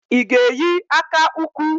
I ga eyi aka ukwu?